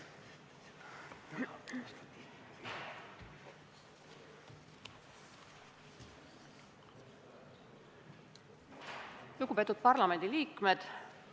Lugupeetud parlamendiliikmed!